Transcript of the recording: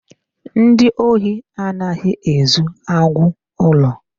Ndị ohi anaghị ezu agwụ ụlọ.